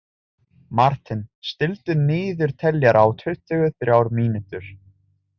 Marten, stilltu niðurteljara á tuttugu og þrjár mínútur.